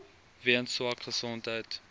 weens swak gesondheid